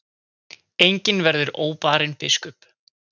Enginn verður óbarinn biskup.